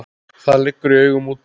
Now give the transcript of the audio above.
Það liggur í augum úti.